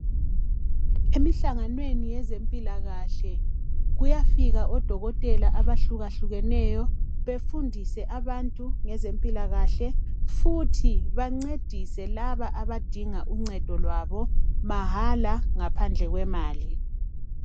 Emihlanganweni wezempilakahle kuyafika odokotela abahlukahlukeneyo befundise abantu ngezempilakahle futhi bancedisa laba abadinga uncedo kwabo mahala ngaphandle kwemali.